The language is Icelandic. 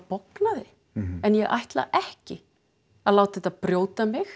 bognaði en ég ætla ekki að láta þetta brjóta mig